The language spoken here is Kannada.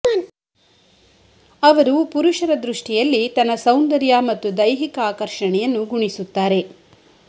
ಅವರು ಪುರುಷರ ದೃಷ್ಟಿಯಲ್ಲಿ ತನ್ನ ಸೌಂದರ್ಯ ಮತ್ತು ದೈಹಿಕ ಆಕರ್ಷಣೆಯನ್ನು ಗುಣಿಸುತ್ತಾರೆ